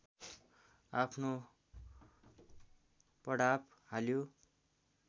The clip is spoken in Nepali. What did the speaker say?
आफ्नो पडाव हाल्यो